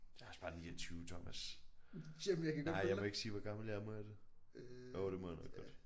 Jeg også bare 29 Thomas. Nej jeg må ikke sige hvor gammel jeg er må jeg det? Jo det må jeg nok godt